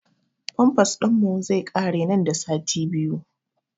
Famfas ɗin mu zai ƙare nan da sati biyu